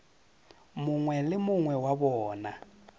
mongwe le mongwe wa bona